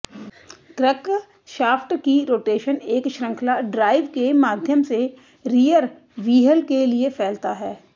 crankshaft की rotation एक श्रृंखला ड्राइव के माध्यम से रियर व्हील के लिए फैलता है